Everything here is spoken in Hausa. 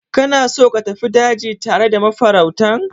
Kana so ka tafi daji tare da mafarautan?